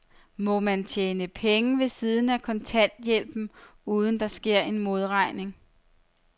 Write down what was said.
Må man tjene penge ved siden af kontanthjælpen, uden at der sker en modregning?